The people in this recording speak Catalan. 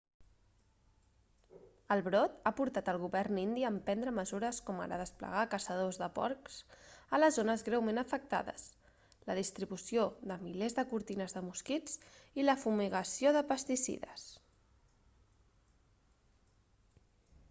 el brot ha portat el govern indi a emprendre mesures com ara desplegar caçadors de porcs a les zones greument afectades la distribució de milers de cortines de mosquits i la fumigació de pesticides